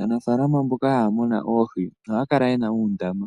Aanafaalama mboka haya munu oohi ohaya kala ye na uundama